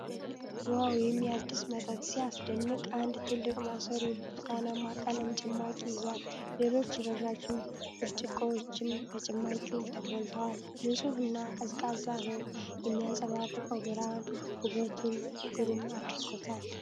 ዋው! የሚያድስ መጠጥ ሲያስደንቅ! አንድ ትልቅ ማሰሮ የብርቱካናማ ቀለም ጭማቂ ይዟል። ሌሎች ረዣዥም ብርጭቆዎችም በጭማቂው ተሞልተዋል። ንፁህ እና ቀዝቃዛ ነው። የሚያንጸባርቀው ብርሃን ውበቱን ግሩም አድርጎታል።